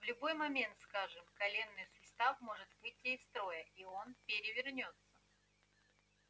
в любой момент скажем коленный сустав может выйти из строя и он перевернётся